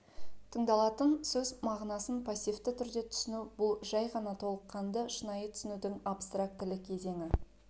тыңдалатын сөз мағынасын пассивті түрде түсіну бұл жай ғана толыққанды шынайы түсінудің абстрактілі кезеңі